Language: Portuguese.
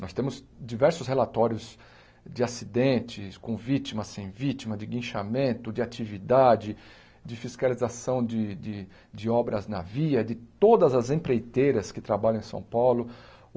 Nós temos diversos relatórios de acidentes, com vítima, sem vítima, de guinchamento, de atividade, de fiscalização de de de obras na via, de todas as empreiteiras que trabalham em São Paulo.